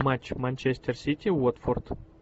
матч манчестер сити уотфорд